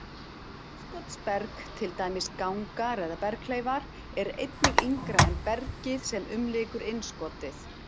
Innskotsberg, til dæmis gangar eða berghleifar, er einnig yngra en bergið, sem umlykur innskotið.